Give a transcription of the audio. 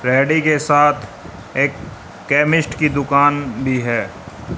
Paddy के साथ एक केमिस्ट की दुकान भी है।